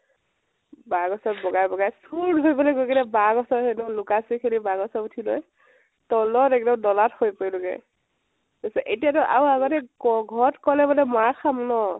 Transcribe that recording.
বাহ গছত বগাই বগাই গৈ কেনে বাহ গছৰ সেইদুখৰত লুকাই আছোগৈ সেইখিন ত বাহ গছত উঠি লৈ, তলত এক্দম নলাত সৰি পৰিলোগে ।এতিয়া তো আৰু ঘৰত কলে বুলে মাৰ খাম ন